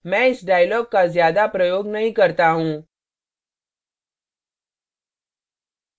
मैं इस dialog का ज्यादा प्रयोग नहीं करता हूँ